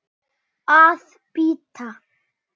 Að bíta.